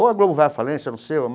Ou a Globo vai à falência, não sei ou.